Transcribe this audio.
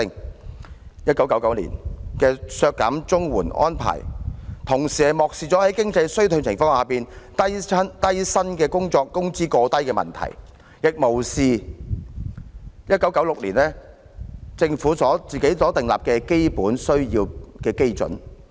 當局在1999年削減綜援的安排，同時漠視了在經濟衰退情況下，低薪工作工資過低的問題，亦無視政府在1996年訂立的基本需要基準。